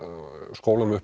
skólanum upp